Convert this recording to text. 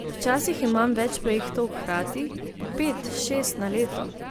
Včasih imam več projektov hkrati, po pet, šest na leto.